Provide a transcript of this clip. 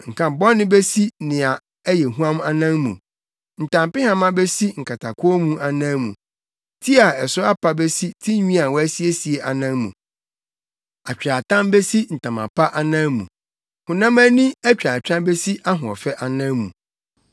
Nkabɔne besi nea ɛyɛ huam anan mu; ntampehama besi nkatakɔnmu anan mu; ti a ɛso apa besi tinwi a wɔasiesie anan mu; atweaatam besi ntama pa anan mu; honam ani atwaatwa besi ahoɔfɛ anan mu.